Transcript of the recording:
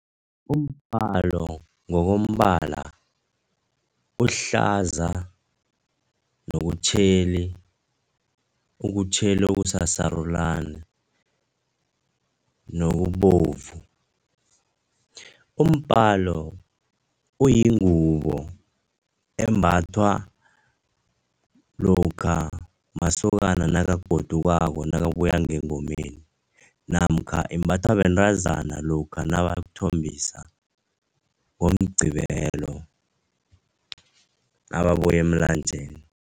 Umbalo ngokombala uhlaza nokutjheli, ukutjheli okusasarulani, nokubovu. Umbalo uyingubo embathwa lokha masokana nakagodukako nakabuya ngengomeni namkha imbathwa bentazana lokha nabayokuthombisa, ngoMgqibelo nababuya emlanjeni.